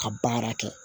Ka baara kɛ